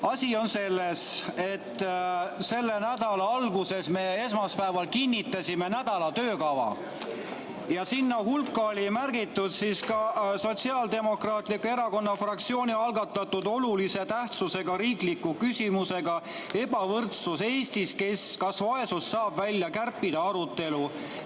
Asi on selles, et selle nädala alguses me esmaspäeval kinnitasime nädala töökava ja sinna hulka oli märgitud ka Sotsiaaldemokraatliku Erakonna fraktsiooni algatatud olulise tähtsusega riikliku küsimuse "Ebavõrdsus Eestis – kas vaesusest saab välja kärpida?" arutelu.